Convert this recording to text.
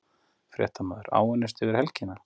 Fréttamaður:. áunnist yfir helgina?